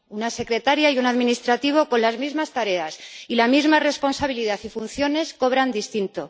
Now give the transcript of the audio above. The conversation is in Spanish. Una secretaria y un administrativo con las mismas tareas y la misma responsabilidad y funciones cobran distinto.